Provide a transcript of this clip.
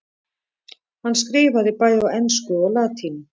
Hann skrifaði bæði á ensku og latínu.